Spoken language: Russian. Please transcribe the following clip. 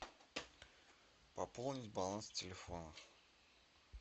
пополнить баланс телефона